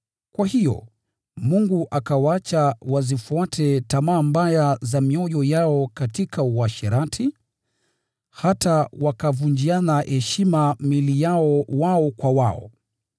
Kwa hiyo, Mungu akawaacha wazifuate tamaa mbaya za mioyo yao katika uasherati, hata wakavunjiana heshima miili yao wao kwa wao.